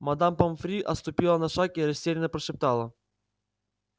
мадам помфри отступила на шаг и растерянно прошептала